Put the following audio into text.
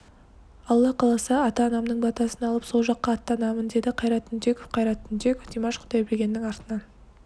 алла қаласа ата-анамның батасын алып сол жаққа аттанамын деді қайрат түнтеков қайрат түнтеков димаш құдайбергеннің артынан